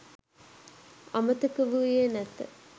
අමතක වූයේ නැත